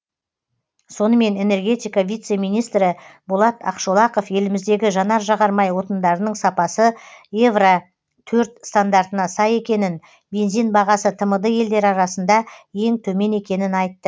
сонымен энергетика вице министрі болат ақшолақов еліміздегі жанар жағармай отындарының сапасы евро төрт стандартына сай екенін бензин бағасы тмд елдері арасында ең төмен екенін айтты